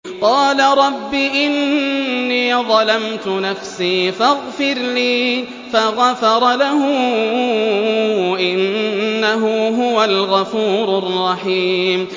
قَالَ رَبِّ إِنِّي ظَلَمْتُ نَفْسِي فَاغْفِرْ لِي فَغَفَرَ لَهُ ۚ إِنَّهُ هُوَ الْغَفُورُ الرَّحِيمُ